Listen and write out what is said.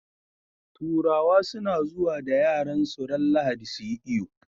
Turawa suna zuwa da yaransu ran lahadi suyi iyo